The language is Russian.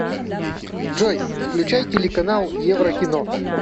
джой включай телеканал еврокино